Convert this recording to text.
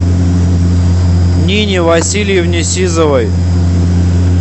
нине васильевне сизовой